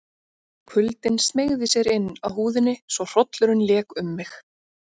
Kuldinn smeygði sér inn að húðinni svo hrollurinn lék um mig.